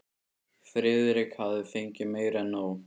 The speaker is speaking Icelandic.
Friðrik hafði fengið meira en nóg.